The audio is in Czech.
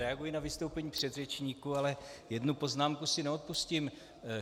Reaguji na vystoupení předřečníků, ale jednu poznámku si neodpustím.